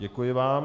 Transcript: Děkuji vám.